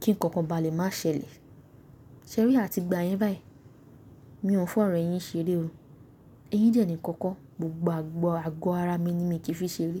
kí ǹkan kan bá lè má ṣẹlẹ̀. Ṣé rí a ti gba yẹn báyìí. Mi ò fi ọ̀rọ̀ eyín ṣeré o. Eyín dẹ̀ nìkan kọ́, gbogbo àgọ́ ara mi ni mi kì í fi ṣeré.